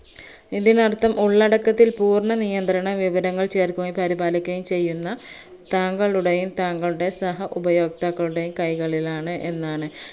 ഇതിനർത്ഥം ഉള്ളടക്കത്തിൽ പൂർണ്ണനിയന്ത്രണ വിവരങ്ങൾ ചേർക്കുകയും പരിപാലിക്കുകയും ചെയ്യുന്ന താങ്കളുടേയും താങ്കളുടെ സഹഉപയോക്താക്കളുടേയും കൈകളിലാണ് എന്നാണ്